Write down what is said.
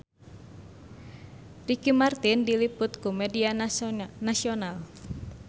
Ricky Martin diliput ku media nasional